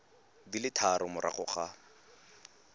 di le tharo morago ga